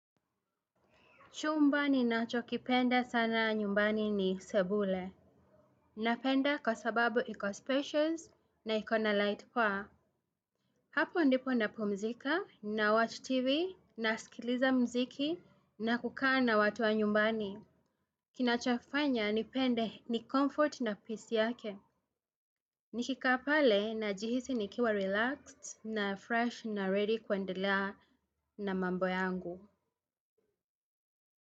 Chumbani ninachokipenda sana nyumbani ni sebule. Napenda kwa sababu iko-spatious na ikona light poa. Hapo ndipo napumzika na watch TV na sikiliza mziki na kukaana watu wa nyumbani. Kinachofanya nipende ni comfort na peace yake. Nikikaapale na jihisi nikiwa relaxed na fresh na ready kuendelea na mambo yangu.